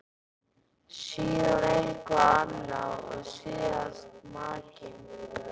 Síðan eitthvað annað og síðast makinn.